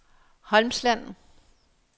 Holmsland